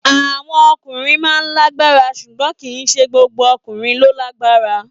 Àwọn ọkùnrin máa ń lágbára ṣùgbọ́n kì í ṣe gbogbo ọkùnrin ló lágbára.